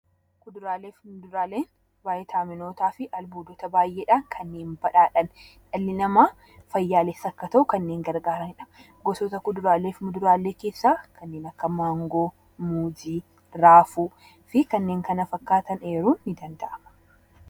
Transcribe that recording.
Kuduraalee fi muduraaleen vitaaminootaa fi albuudotaan kanneen badhaadhan dhalli namaa fayyaalessa akka ta'u kanneen gargaaranidha. Gosoota kuduraalee fi muduraalee keessaa kanneen akka maangoo, muuzii, raafuu fi kanneen kana fakkaatanidha.